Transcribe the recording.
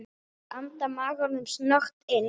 Ég anda maganum snöggt inn.